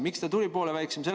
Miks ta tuli poole väiksem?